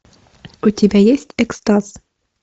у тебя есть экстаз